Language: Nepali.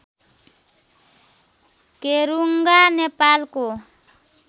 केरुङ्गा नेपालको